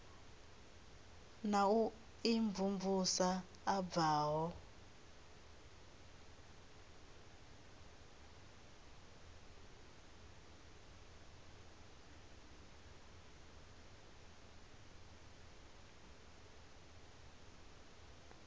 na u imvumvusa a bvaho